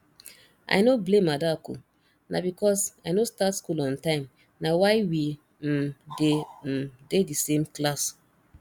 i no blame adaku na because say i no start school on time na why we um dey um dey the same class